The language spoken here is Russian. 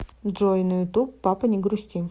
джой на ютуб папа не грусти